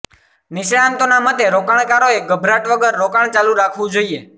નિષ્ણાતોના મતે રોકાણકારોએ ગભરાટ વગર રોકાણ ચાલુ રાખવું જોઈએ